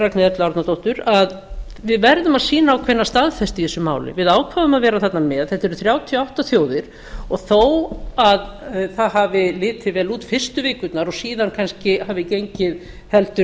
erlu árnadóttur að við verðum að sýna ákveðna staðfestu í þessu máli við ákváðum að vera þarna með þetta eru þrjátíu og átta þjóðir og þó að það hafi litið vel út fyrstu vikurnar og síðan kannski hafi gengið heldur